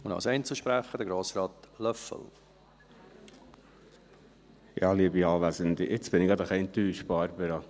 Jetzt bin ich gerade ein wenig enttäuscht, Barbara Mühlheim.